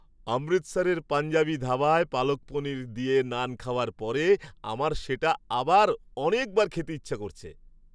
অমৃতসরের পাঞ্জাবি ধাবায় পালক পনির দিয়ে নান খাওয়ার পরে আমার সেটা আবার অনেকবার খেতে ইচ্ছে করছে!